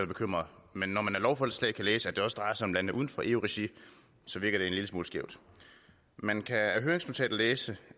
bekymret men når man af lovforslaget kan læse at det også drejer sig om lande uden for eu regi virker det en lille smule skævt man kan af høringsnotatet læse